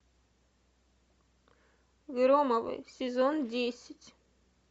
громовы сезон десять